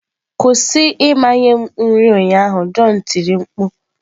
Kwụsị ịmanye m nri ụnyaahụ, john tiri mkpu.